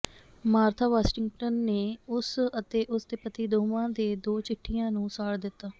Martha Washington ਨੇ ਉਸ ਅਤੇ ਉਸ ਦੇ ਪਤੀ ਦੋਵਾਂ ਦੇ ਦੋ ਚਿੱਠੀਆਂ ਨੂੰ ਸਾੜ ਦਿੱਤਾ